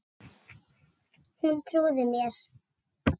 Hún trúði mér.